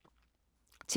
TV 2